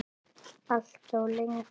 Alltof lengi.